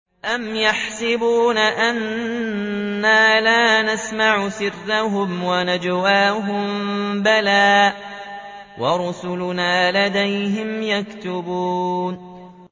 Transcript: أَمْ يَحْسَبُونَ أَنَّا لَا نَسْمَعُ سِرَّهُمْ وَنَجْوَاهُم ۚ بَلَىٰ وَرُسُلُنَا لَدَيْهِمْ يَكْتُبُونَ